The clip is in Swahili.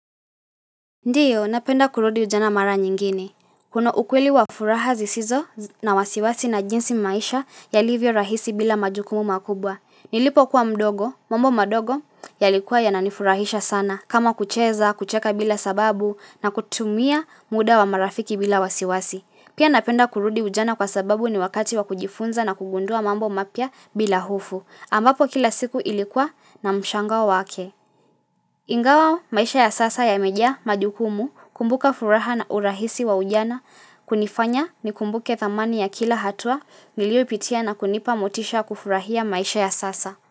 Ndiyo, napenda kurudi ujana mara nyingine. Kuna ukweli wa furaha zisizo na wasiwasi na jinsi maisha yalivyo rahisi bila majukumu makubwa. Nilipokuwa mdogo, mambo madogo yalikuwa yananifurahisha sana kama kucheza, kucheka bila sababu na kutumia muda wa marafiki bila wasiwasi. Pia napenda kurudi ujana kwa sababu ni wakati wa kujifunza na kugundua mambo mapya bila hofu. Ambapo kila siku ilikuwa na mshangao wake. Ingawa maisha ya sasa yamejaa majukumu kumbuka furaha na urahisi wa ujana kunifanya nikumbuke thamani ya kila hatua niliopitia na kunipa motisha kufurahia maisha ya sasa.